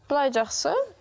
былай жақсы